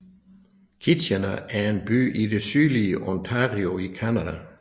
Kitchener er en by i det sydlige Ontario i Canada